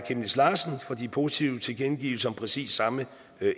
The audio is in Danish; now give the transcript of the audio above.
chemnitz larsen for de positive tilkendegivelser om præcis samme